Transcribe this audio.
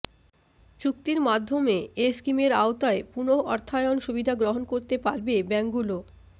চুক্তির মাধ্যমে এ স্কিমের আওতায় পুনঃঅর্থায়ন সুবিধা গ্রহণ করতে পারবে ব্যাংকগুলো